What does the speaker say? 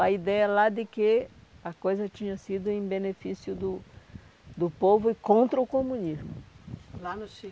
A ideia lá de que a coisa tinha sido em benefício do do povo e contra o comunismo. Lá no Chile